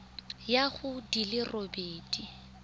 ya go di le robedi